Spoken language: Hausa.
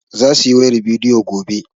Za su yi wayar bidiyo gobe.